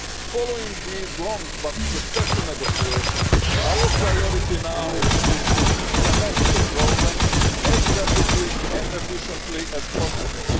Following these long but successful negotiations, our priority now is to implement the programme as rapidly and efficiently as possible.